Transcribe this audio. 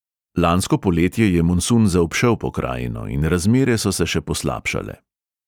Lansko poletje je monsun zaobšel pokrajino in razmere so se še poslabšale.